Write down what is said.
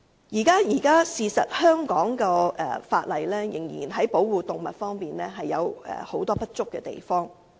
事實上，現時香港在保護動物的法例方面，仍有很多不足之處。